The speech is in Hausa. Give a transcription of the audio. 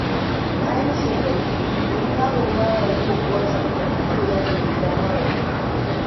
Bayan shekaru biyu wani yaro ba ya yi wa uwarsa magana, yau ya nemi gafararta.